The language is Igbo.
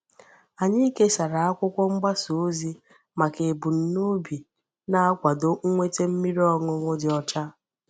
Anyị kesàrà akwụkwọ mgbasa ozi maka ebumnobi na-akwàdò nnweta mmiri ọṅụṅụ dị ọcha.